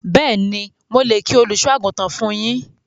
Béèni, mo lè kí Àgùntàn fún yín